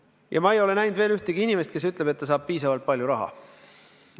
Ja ma ei ole veel näinud ühtki inimest, kes ütleb, et ta saab piisavalt palju raha.